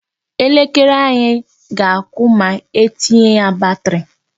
Elekere anyị ga-akụ ma etinye ya batri.